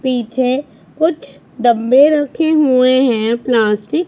पीछे कुछ डब्बे रखे हुए हैं प्लास्टिक --